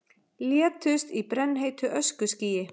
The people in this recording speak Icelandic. Létust í brennheitu öskuskýi